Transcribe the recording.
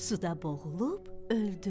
Suda boğulub öldü.